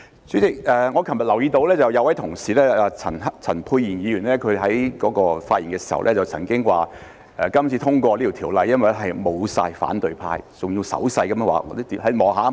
主席，我昨日留意到有一位同事陳沛然議員發言時曾經說，今次通過那項條例草案是因為沒有反對派，他還要用手勢表示："看看，全都沒有了。